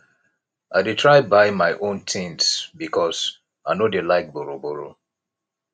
i dey try buy my own tins because i no dey like borrowborrow